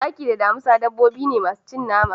Zaki da damisa dabbobi ne masu cin nama.